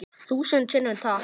Þúsund sinnum takk.